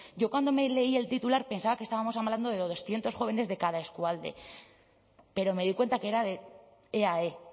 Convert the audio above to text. yo cuando me leí el titular pensaba que estábamos hablando de doscientos jóvenes de cada eskualde pero me di cuenta que era de eae